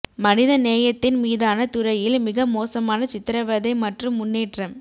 மனித நேயத்தின் மீதான துறையில் மிக மோசமான சித்திரவதை மற்றும் முன்னேற்றம்